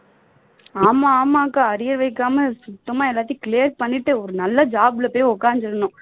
ஆமா ஆமா அக்கா arrear exam சுத்தமா எல்லாத்தையும் clear பண்ணிட்டு ஒரு நல்ல job ல போய் உக்காந்துடனும்